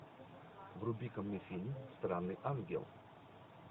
вруби ка мне фильм странный ангел